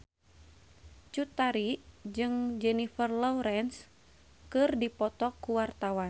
Cut Tari jeung Jennifer Lawrence keur dipoto ku wartawan